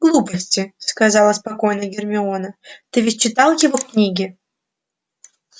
глупости сказала спокойно гермиона ты ведь читал его книги